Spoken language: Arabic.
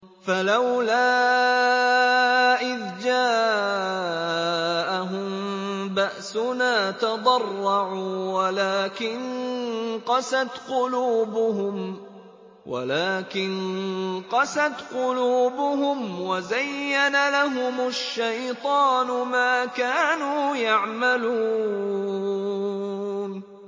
فَلَوْلَا إِذْ جَاءَهُم بَأْسُنَا تَضَرَّعُوا وَلَٰكِن قَسَتْ قُلُوبُهُمْ وَزَيَّنَ لَهُمُ الشَّيْطَانُ مَا كَانُوا يَعْمَلُونَ